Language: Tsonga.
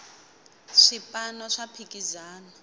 swipano swa phikizana